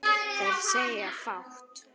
Þeir segja fátt